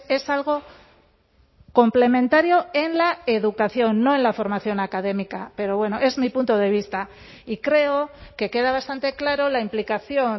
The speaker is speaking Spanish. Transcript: es algo complementario en la educación no en la formación académica pero bueno es mi punto de vista y creo que queda bastante claro la implicación